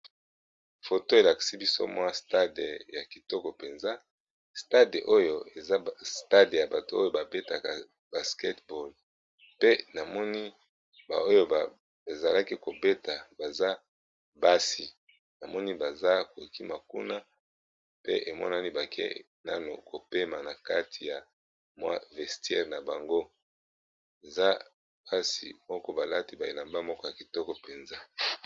foto elaksi biso mwa stade ya kitoko mpenza stade oyo eza stade ya bato oyo babetaka basketeball pe namoni oyo bazalaki kobeta baza basi na moni baza kokima kuna pe emonani bake nano kopema na kati ya mwa vestire na bango eza basi moko balati baelamba moko ya kitoko mpenza